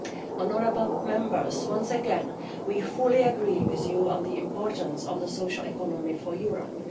Honourable Members, once again we fully agree with you on the importance of the social economy for Europe.